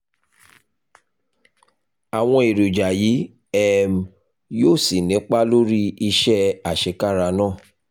àwọn èròjà yìí um yóò sì nípa lórí iṣẹ́ àṣekára náà